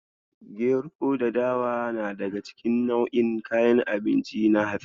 Gero da dawa na daga cikin nau'in kayan abinci na hatsi.